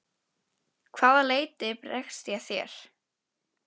Að hvaða leyti bregst ég þér?